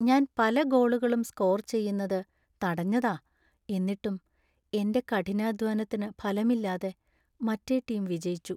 ഞാൻ പല ഗോളുകളും സ്കോർ ചെയ്യുന്നത് തടഞ്ഞതാ ,എന്നിട്ടും, എന്‍റെ കഠിനാധ്വാനത്തിനു ഫലമില്ലാതെ മറ്റേ ടീം വിജയിച്ചു.